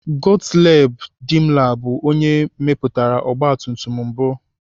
Gottlieb Daimler bụ onye mepụtara ọgbatumtum mbụ.